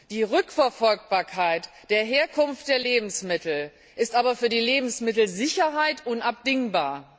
Die Rückverfolgbarkeit der Herkunft der Lebensmittel ist aber für die Lebensmittelsicherheit unabdingbar.